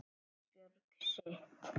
Ísbjörg sitt.